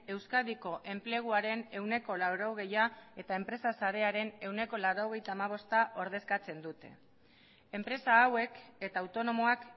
euskadiko enpleguaren ehuneko laurogeia eta enpresa sarearen ehuneko laurogeita hamabosta ordezkatzen dute enpresa hauek eta autonomoak